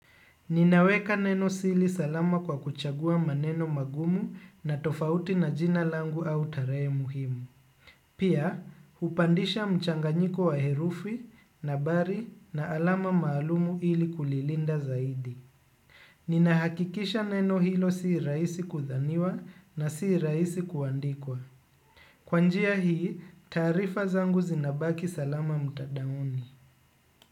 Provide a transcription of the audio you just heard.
Ninaweka nenosili salama kwa kuchagua maneno magumu na tofauti na jina langu au tarehe muhimu. Pia, hupandisha mchanganyiko wa herufi, na habari na alama maalumu ili kulilinda zaidi. Ninahakikisha neno hilo si rahisi kudhaniwa na si rahisi kuandikwa. Kwa njia hii, taarifa zangu zinabaki salama mtadaoni.